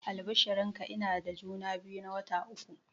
Albishirin ka, ina da juma biyu na wata uku